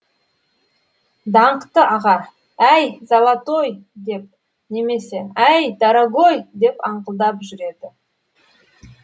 даңқты аға әй золотой деп немесе әй дорогой деп аңқылдап жүреді